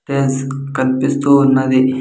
Yes కనిపిస్తూ ఉన్నది.